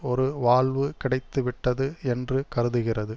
ஒரு வால்வு கிடைத்து விட்டது என்று கருதுகிறது